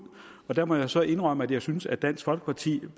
og der må jeg så indrømme at jeg synes at dansk folkeparti